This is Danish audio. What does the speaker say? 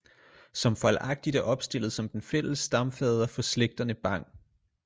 Som fejlagtigt er opstillet som den fælles stamfader for slægterne bang